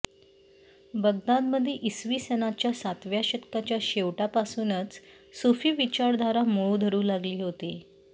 बगदादमध्ये इसवी सनाच्या सातव्या शतकाच्या शेवटापासूनच सूफी विचारधारा मूळ धरू लागली होती